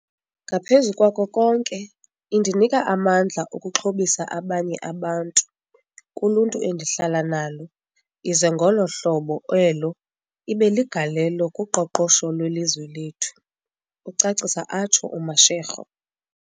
"Ngaphezu kwako konke, indinika amandla okuxhobisa abanye abantu kuluntu endihlala nalo ize ngolo hlobo elo ibe ligalelo kuqoqosho lwelizwe lethu," ucacisa atsho uMashego.